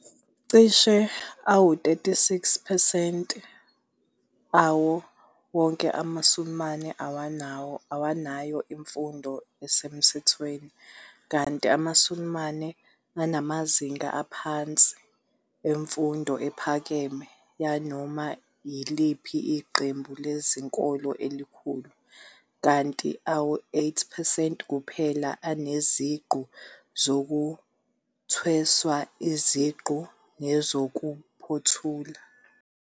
Cishe ama-36 percent awo wonke amaSulumane awanayo imfundo esemthethweni, kanti amaSulumane anamazinga aphansi aphansi emfundo ephakeme yanoma yiliphi iqembu lezenkolo elikhulu, kanti ama-8 percent kuphela aneziqu zokuthweswa iziqu nezokuphothula.